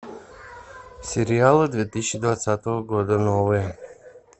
сериалы две тысячи двадцатого года новые